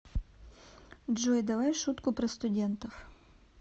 джой давай шутку про студентов